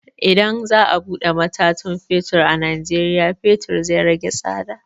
Idan za a buɗe matatan fetur a najeriya, fetur zai rage tsada.